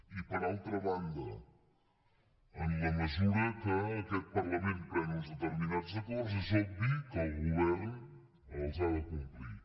i per altra banda en la mesura que aquest parlament pren uns determinats acords és obvi que el govern els ha de complir